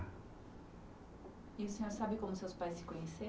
E o senhor sabe como seus pais se conheceram?